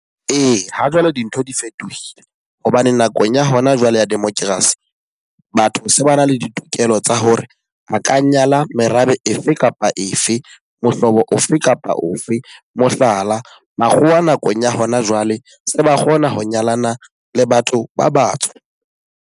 Ee, ha jwale dintho di fetohile. Hobane nakong ya hona jwale ya democracy batho se ba na le ditokelo tsa hore a ka nyala merabe efe kapa efe, mohlobo ofe kapa ofe. Mohlala, makgowa a nakong ya hona jwale se ba kgona ho nyalana le batho ba batsho.